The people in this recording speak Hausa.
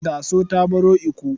Daso ta baro Ikko.